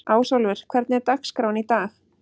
Ásólfur, hvernig er dagskráin í dag?